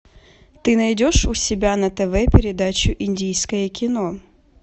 ты найдешь у себя на тв передачу индийское кино